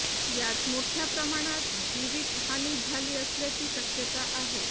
यात मोठ्या प्रमाणात जीवितहानी झाली असल्याची शक्यता आहे